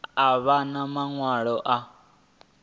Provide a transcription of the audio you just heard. a vha na maṅwalo a